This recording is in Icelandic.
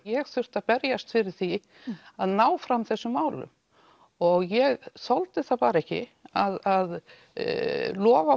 ég þurfti að berjast fyrir því að ná fram þessum málum og ég þoldi það bara ekki að lofa